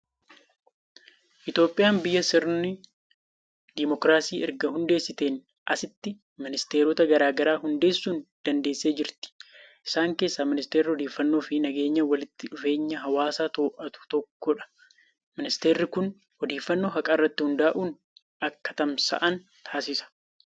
Itoophiyaan biyya sirna Dimookiraasii erga hundeessiteen asitti, ministeerota garaa garaa hundeessuu dandeessee jirti. Isaan keessaa Ministeerri Odeeffannoo fi nageenya walitti dhufeenya hawaasaa to'atu tokkodha. Ministeerri kun odeeffannoon haqa irratti hundaa'an akka tamsa'an taasisa.